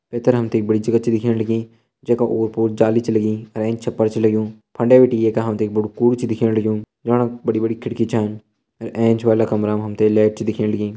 पैथर हम ते के एक बड़ी जगह छ दिखेण लगीं जै का ओर पोर जाली छ लगीं अर एंच छपर छ लग्युं फंडे बिटि एका हम ते एक बड़ु कूड़ु छ दिखेण लग्युं जाण बड़ी बड़ी खिड़की छन अर एंच वाला कमरा मा हम ते लैट छ दिखेण लगीं।